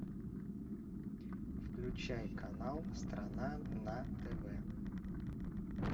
включай канал страна на тв